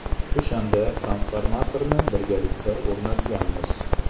O‘shanda transformatorni birgalikda o‘rnatganmiz.